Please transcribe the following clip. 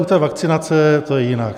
U té vakcinace to je jinak.